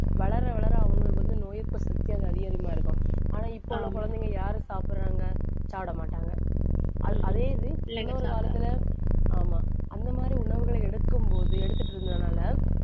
வளர, வளர அவங்களுக்கு வந்து நோய் எதிர்ப்பு சக்தி அதிக அதிகமா இருக்கும். ஆனா, இப்போ அந்த குழந்தைங்க யாரு சாப்பிடுறாங்க? சாப்பிட மாட்டாங்க. அ~ அதே இது, இன்னொரு காலத்திலே, ஆமா. அந்த மாதிரி உணவுகளை எடுக்கும் போது எடுத்துட்டு இருந்ததுனாலே,